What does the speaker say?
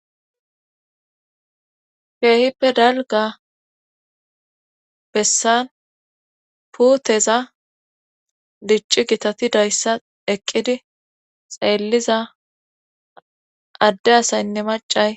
keehippe dalga bessan puuteza dicci gitati dayssa eqqidi xeelliza adde asaynne macay